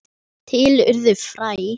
Til urðu fræ.